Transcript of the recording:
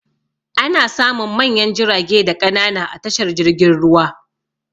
Ana samun manyan jirage da ƙanana a tashar jirgin ruwa.